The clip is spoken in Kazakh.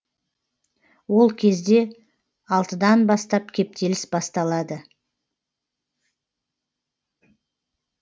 ол кезде алтыдан бастап кептеліс басталады